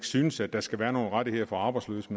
synes at der skal være nogen rettigheder for arbejdsløse